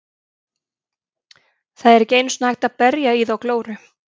Það er ekki einu sinni hægt að berja í þá glóru.